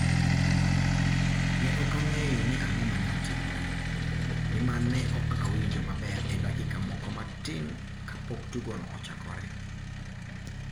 Ne ok ang'eyo ni ang'o ma ne otimore, nimar ne ok awinjo maber e dakika moko matin kapok tugono ochakore.